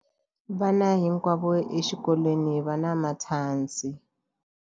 Vana hinkwavo exikolweni va na matshansi.